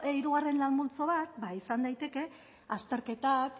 hirugarren lan multzo bat izan daiteke azterketak